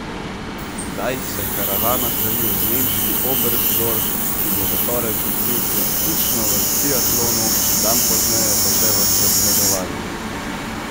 Zdaj se karavana seli v nemški Oberstdorf, ki bo v torek gostil preizkušnjo v skiatlonu, dan pozneje pa še v zasledovanju.